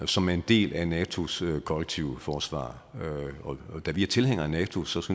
som en del af natos kollektive forsvar og da vi er tilhængere af nato synes